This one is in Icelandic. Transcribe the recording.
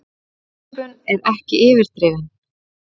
Þessi upphrópun er ekki yfirdrifin.